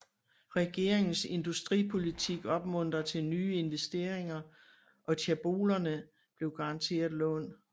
Regeringens industripolitik opmuntrede til nye investeringer og Chaebolerne blev garanteret lån